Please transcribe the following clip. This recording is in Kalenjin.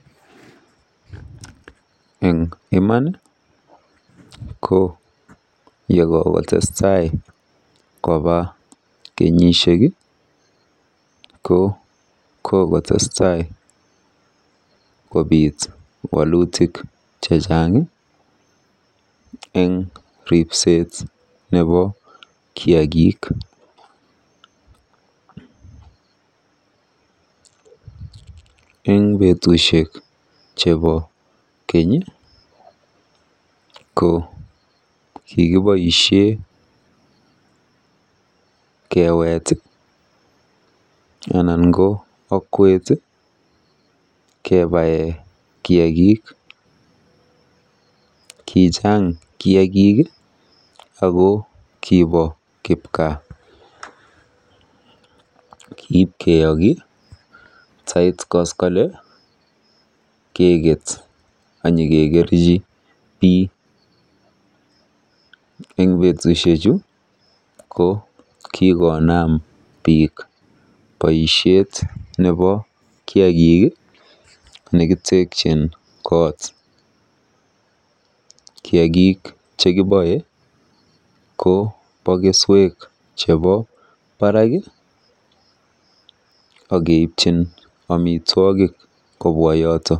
Eng iman ko yekokotestai koba kenyisiek ko kokotestai kobiit walet eng ripset nebo kiagik. Eng betusiek chebo keny ko kikiboisie keweet anan ko akwet kebae kiagik. Kichang kiagik ako kibo kipgaa. Kiipkiyoki atya tait koskole anyikekerji bii. Eng betusiechu ko kikonaam biik boisiet nebo kiagik nekitekyin koot. Kiagik chekiboe kobo keswek chebo barak akeipchin amitwogik kobwa yoto.